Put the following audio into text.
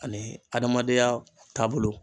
Ani adamadenya taabolo